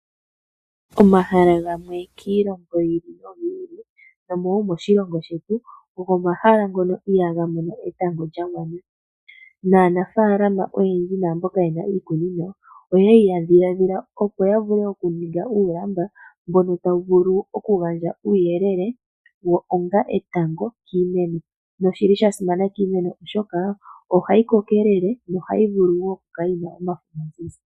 Omahala gamwe kiilongo yi ili noyi ili noshowo moshilongo shetu, ogo omahala ngono ihaga mono etango lya gwana. Aanafaalama oyendji noshowo mbono ye na iikunino oya dhiladhila, opo ya ninge uulamba mbono tawu vulu okugandja uuyelele onga etango kiimeno nosha simana kiimeno, oshoka ohayi kokelele nohayi vulu wo okukala yi na omafo omazizi.